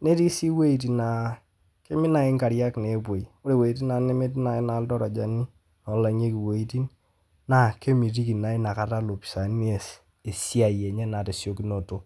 netii sii wejitin naaa kemit naii inkarriak nepoi, ore wejitin naa neetii naa iltarajani olang'ieki wejitin naa kemitiki naa inakata lopisaani meas esiaai enye naa te siekunoto.